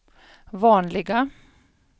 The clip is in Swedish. vanliga